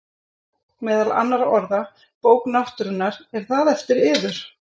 Meðal annarra orða: Bók náttúrunnar- er það eftir yður?